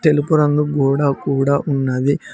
తెలుపు రంగు గోడ కూడా ఉన్నది.